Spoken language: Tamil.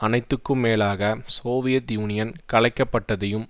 அனைத்துக்கும் மேலாக சோவியத் யூனியன் கலைக்கப்பட்டதையும்